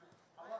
Yəni oyunçu.